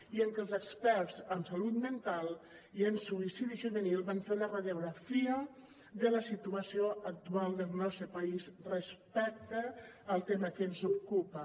i en què els experts en salut mental i en suïcidi juvenil van fer una radiografia de la situació actual del nostre país respecte al tema que ens ocupa